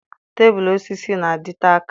Tebụl osisi na-adịte aka.